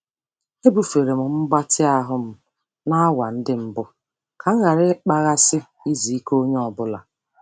Ebufere m mgbatị ahụ m n'awa ndị mbụ ka m ghara ịkpaghasị izu ike onye ọ bụla.